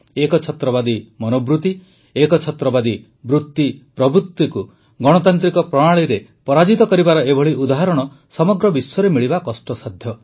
ଏକଛତ୍ରବାଦୀ ମନୋବୃତି ଏକଛତ୍ରବାଦୀ ବୃତିପ୍ରବୃତିକୁ ଗଣତାନ୍ତ୍ରିକ ପ୍ରଣାଳୀରେ ପରାଜିତ କରିବାର ଏଭଳି ଉଦାହରଣ ସମଗ୍ର ବିଶ୍ୱରେ ମିଳିବା କଷ୍ଟସାଧ୍ୟ